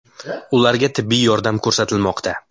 Ularga tibbiy yordam ko‘rsatilmoqda.